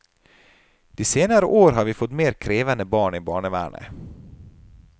De senere år har vi fått mer krevende barn i barnevernet.